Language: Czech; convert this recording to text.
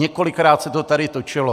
Několikrát se to tady točilo.